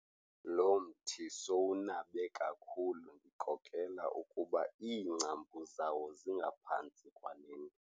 Lo mthi sowunabe kakhulu ndikrokrela ukuba iingcambu zawo zingaphantsi kwale ndlu.